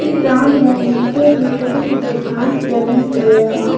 Ground में नीचे भी छोटे छोटे घास जमे हुए हैं।